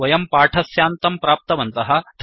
वयं पाठस्यान्तं प्राप्तवन्तः